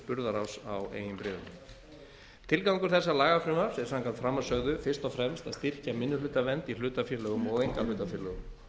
burðaráss á eigin bréfum tilgangur þessa lagafrumvarps er samkvæmt framansögðu fyrst og fremst að styrkja minnihlutavernd í hlutafélögum og einkahlutafélögum